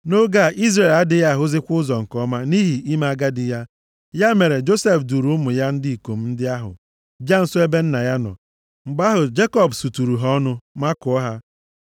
Nʼoge a, Izrel adịghị ahụzikwa ụzọ nke ọma nʼihi ime agadi ya. Ya mere, Josef duuru ụmụ ya ndị ikom ndị ahụ bịa nso ebe nna ya nọ. Mgbe ahụ, Jekọb suturu ha ọnụ, makụọ ha.